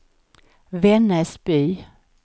Vännäsby